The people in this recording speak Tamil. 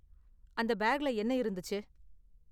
அந்த பேக்ல என்ன இருந்துச்சு?